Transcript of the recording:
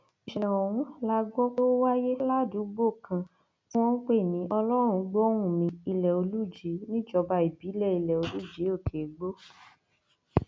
ìṣẹlẹ ọhún la gbọ pé ó wáyé ládùúgbò kan tí wọn ń pè ní ọlọrungbọhùnmi ilẹolùjì níjọba ìbílẹ ilẹolùjì òkèìgbò